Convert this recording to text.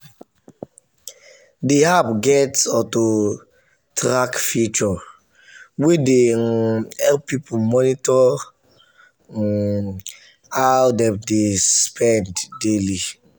the app get auto-track feature wey dey um help people monitor um how dem dey spend daily.